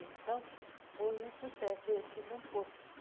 Então, foi um sucesso. e assim